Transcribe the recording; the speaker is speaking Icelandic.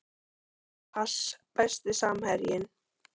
pass Besti samherjinn?